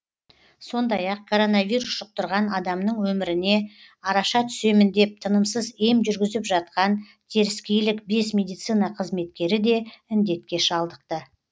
сондай ақ коронавирус жұқтырған адамның өміріне араша түсемін деп тынымсыз ем жүргізіп жатқан теріскейлік бес медицина қызметкері де індетке шалдықты